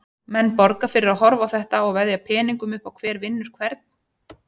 Menn borga fyrir að horfa á þetta og veðja peningum upp á hver vinnur hvern.